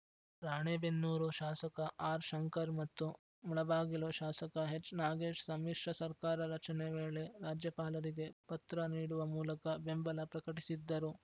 ರಾಣೆಬೆನ್ನೂರು ಶಾಸಕ ಆರ್‌ಶಂಕರ್‌ ಮತ್ತು ಮುಳಬಾಗಿಲು ಶಾಸಕ ಎಚ್‌ನಾಗೇಶ್‌ ಸಮ್ಮಿಶ್ರ ಸರ್ಕಾರ ರಚನೆ ವೇಳೆ ರಾಜ್ಯಪಾಲರಿಗೆ ಪತ್ರ ನೀಡುವ ಮೂಲಕ ಬೆಂಬಲ ಪ್ರಕಟಿಸಿದ್ದರು